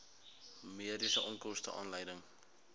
mediese onkoste aanleiding